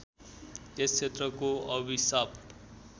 यस क्षेत्रको अभिषाप